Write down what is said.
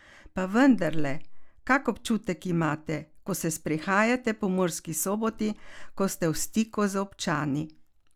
Pa vendarle, kak občutek imate, ko se sprehajate po Murski Soboti, ko ste v stiku z občani?